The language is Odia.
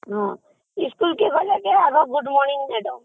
ହଁ ସ୍କୁଲକୁ ଗଲେ ଆଗ good morning